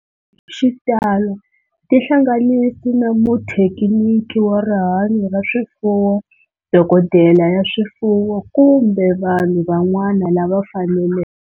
Xitalo tihlanganisi na muthekiniki wa rihanyo ra swifuwo, dokodela ya swifuwo, kumbe vanhu van'wana lava faneleke.